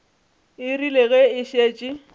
e rile ge e šetše